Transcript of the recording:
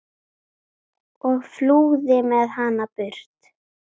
og flúði með hana burt.